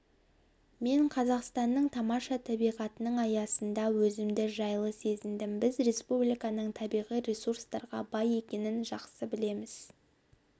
мен қазақстанның тамаша табиғатының аясында өзімді жайлы сезіндім біз республиканың табиғи ресурстарға бай екенін жақсы білеміз